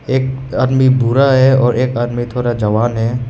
एक आदमी बुरा है और एक आदमी थोड़ा जवान है।